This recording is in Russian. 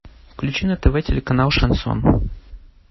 включи на тв телеканал шансон